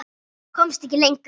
Komst ekki lengra.